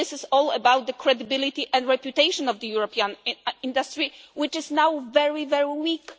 This is all about the credibility and reputation of the European industry, which is now very weak.